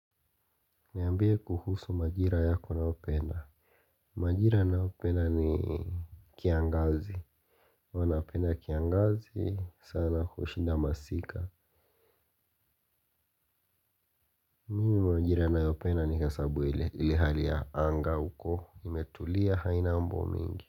Niambie kuhusu majira yako unayopenda. Majira ninayopenda ni kiangazi. Huwa napenda kiangazi sana kushinda masika. Majira ninayopenda ni hesabu ile hali ya anga uko imetulia haina mambo mingi.